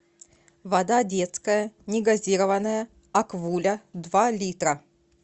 вода детская негазированная аквуля два литра